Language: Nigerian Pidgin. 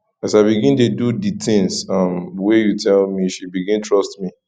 as i begin dey do di tins um wey you tell me she begin trust me